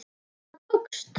Það tókst.